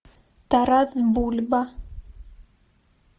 тарас бульба